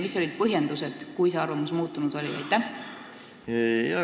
Mis olid põhjendused, kui see arvamus muutunud oli?